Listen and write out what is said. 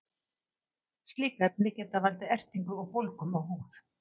slík efni geta valdið ertingu og bólgum á húð